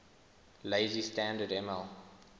lazy standard ml